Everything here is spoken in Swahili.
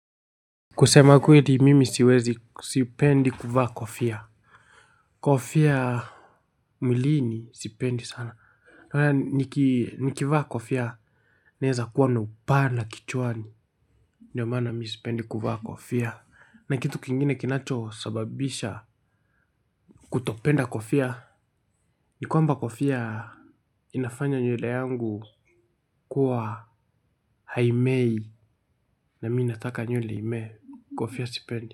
Kusema kueli mimi siwezi sipendi kuvaa kofia. Kofia Miliini sipendi sana nikivaa kofia naeza kuwa na upana kichuwani. Ndiyo mana mi sipendi kuvaa kofia na kitu kingine kinacho sababisha kutopenda kofia. Nikuamba kofia inafanya nyuele yangu kuwa haimei na minataka nyuele ime kofia sipendi.